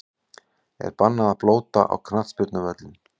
Er bannað að blóta á knattspyrnuvöllum?!